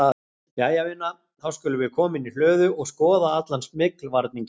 Jæja vina, þá skulum við koma inn í hlöðu og skoða allan smyglvarninginn